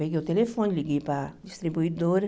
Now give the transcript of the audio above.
Peguei o telefone, liguei para a distribuidora.